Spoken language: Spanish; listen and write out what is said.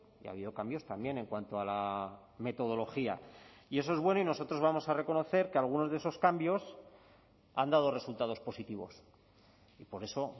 y ha habido cambios también en cuanto a la metodología y eso es bueno y nosotros vamos a reconocer que algunos de esos cambios han dado resultados positivos y por eso